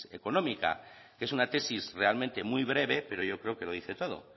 económica que es una tesis realmente muy breve pero yo creo que lo dice todo